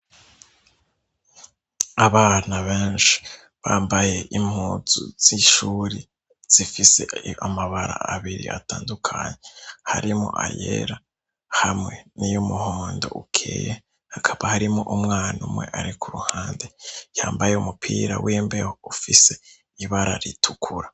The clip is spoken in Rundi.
abana benshi bambaye impunzu z'ishure zifise amabara abiri atandukanye harimwo ayera hamwe niy'umuhondo ukeye hakaba harimwo umwana umwe ari ku ruhande yambaye umupira wimbeho ufise ibara ritukura